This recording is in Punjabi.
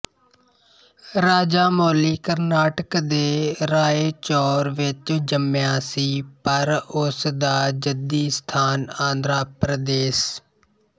ਰਾਜਾਮੌਲੀ ਕਰਨਾਟਕ ਦੇ ਰਾਏਚੌਰ ਵਿੱਚ ਜੰਮਿਆ ਸੀ ਪਰ ਉਸ ਦਾ ਜੱਦੀ ਸਥਾਨ ਆਂਧਰਾ ਪ੍ਰਦੇਸ਼